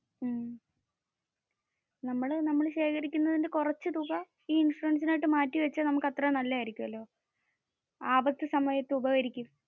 നമ്മൾ ശേഖരിക്കുന്നതിന് കുറച്ചു തുക ഈ ഇൻഷുറൻസിനായിട്ട് മാറ്റി വെച്ച നമ്മുക് അത്രേം നല്ലതായിരിക്കും. ആപത്തു സമയത്തു ഉപകരിക്കും.